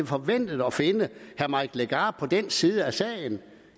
forventet at finde herre mike legarth på denne side af sagen